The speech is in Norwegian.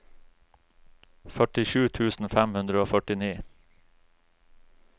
førtisju tusen fem hundre og førtini